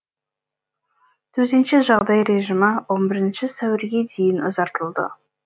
төтенше жағдай режимі он бірінші сәуірге дейін ұзартылды